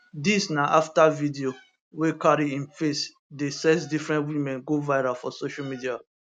dis na afta video wey carry im face dey sex different women go viral for social media